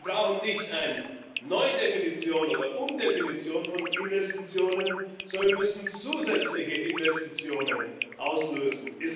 Wir brauchen keine Neudefinition oder Umdefinition von Investitionen, sondern wir müssen zusätzliche Investitionen auslösen.